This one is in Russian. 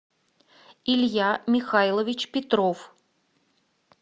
илья михайлович петров